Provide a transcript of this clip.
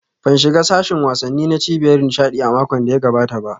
Ban shiga sashin wasanni na cibiyar nishaɗi a makon da ya gabata ba